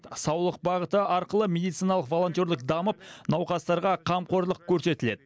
саулық бағыты арқылы медициналық волонтерлік дамып науқастарға қамқорлық көрсетіледі